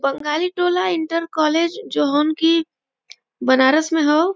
Bengali Tola inter college Banaras में ह ।